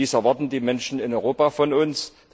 Das erwarten die Menschen in Europa von uns.